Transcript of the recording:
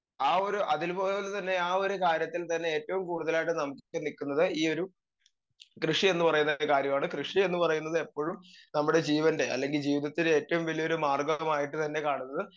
speaker 2 ആ ഒരു അതില് പോലെ തന്നെ ആ ഒരു കാര്യത്തിൽ തന്നെ ഏറ്റോം കൂടുതലായിട്ട് നമുക്ക് നിക്കുന്നത് ഈ ഒരു കൃഷിയെന്ന് പറയുന്ന ഒരു കാര്യാണ് കൃഷിയെന്ന് പറയുന്നത് എപ്പഴും നമ്മുടെ ജീവൻ്റെ അല്ലെങ്കി ജീവിതത്തിലേറ്റവും വലിയൊരു മാർഗമായിട്ട് തന്നെ കാണുന്നത്